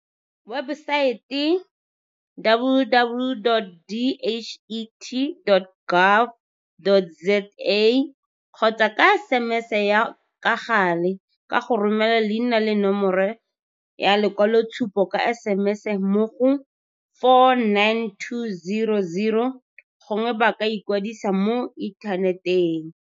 webesaete, www.dhet.gov.za, kgotsa ka sms ya ka gale, ka go romela leina le nomoro ya lekwaloitshupo ka SMS mo go 49200, gongwe ba ka ikwadisa mo inthaneteng.